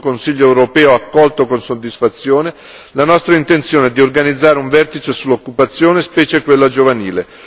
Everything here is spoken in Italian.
L'ultimo Consiglio europeo ha accolto con soddisfazione la nostra intenzione di organizzare un vertice sull'occupazione, specie quella giovanile.